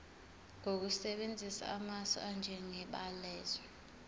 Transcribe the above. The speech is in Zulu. ngokusebenzisa amasu anjengebalazwe